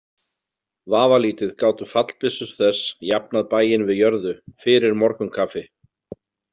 Vafalítið gátu fallbyssur þess jafnað bæinn við jörðu fyrir morgunkaffi.